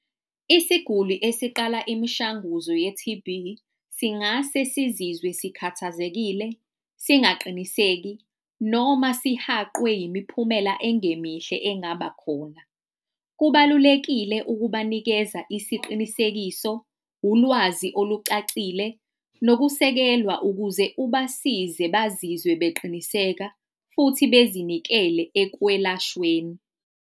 Isiguli esiqala imishanguzo ye-T_B singase sizizwe sikhathazekile, singaqiniseki noma sihaqwe yimiphumela engemihle engaba khona. Kubalulekile ukubanikeza isiqinisekiso, ulwazi olucacile, nokusekelwa, ukuze ubasize bazizwe beqiniseka futhi bezinikele ekwelashweni.